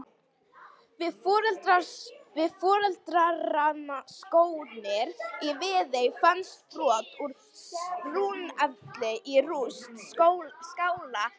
Við fornleifarannsóknir í Viðey fannst brot úr rúnakefli í rúst skála nokkurs.